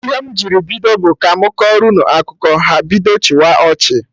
Ihe m jiri bido bụ "ka mụ kọrọ unu akụkọ" ha bido chịwa ọchị